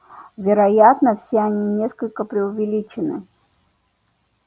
вероятно все они несколько преувеличены